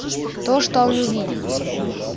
то что он увидел